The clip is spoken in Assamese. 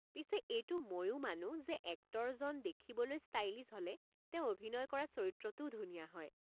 পিছে এইটো মইও মানো যে এক্টৰজন দেখিবলৈ ষ্টাইলিছ হ'লে তেওঁ অভিনয় কৰা চৰিত্ৰটোও ধুনীয়া হয়।